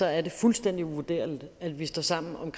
er fuldstændig uvurderligt at vi står sammen om